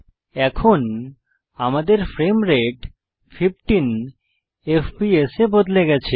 এখন আমাদের frame rate 15 FPS এ বদলে গেছে